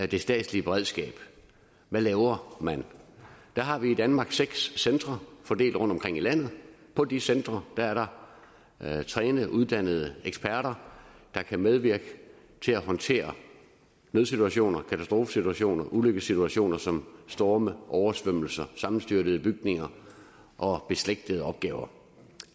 det statslige beredskab er man laver man der har vi i danmark seks centre fordelt rundtomkring i landet på de centre er der trænede uddannede eksperter der kan medvirke til at håndtere nødsituationer katastrofesituationer ulykkessituationer som storme oversvømmelser og sammenstyrtede bygninger og beslægtede opgaver